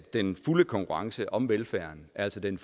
den fulde konkurrence om velfærden altså den